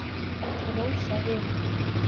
Rósarima